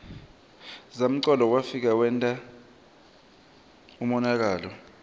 zamcolo wefika wenta umonakalo